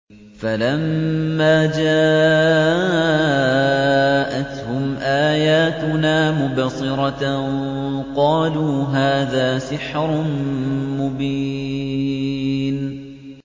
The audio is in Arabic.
فَلَمَّا جَاءَتْهُمْ آيَاتُنَا مُبْصِرَةً قَالُوا هَٰذَا سِحْرٌ مُّبِينٌ